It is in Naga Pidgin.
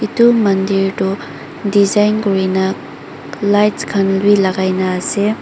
etu mandir toh design kurina lights khan bi lagai kina asae.